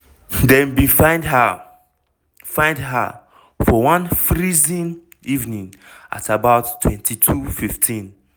dem bin find her find her for one freezing evening at about 22:15.